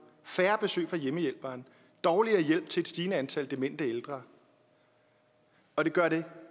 færre besøg fra hjemmehjælperen dårligere hjælp til et stigende antal demente ældre og det gør det